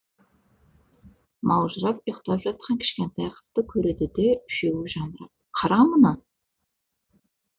маужырап ұйықтап жатқан кішкентай қызды көреді де үшеуі жамырап қара мұны